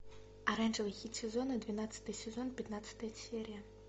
оранжевый хит сезона двенадцатый сезон пятнадцатая серия